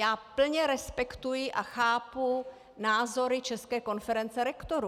Já plně respektuji a chápu názory České konference rektorů.